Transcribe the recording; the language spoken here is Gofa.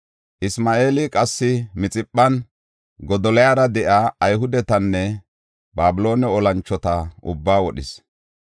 Isma7eeli qassi Mixiphan Godoliyara de7iya Ayhudetanne Babiloone olanchota ubbaa wodhis.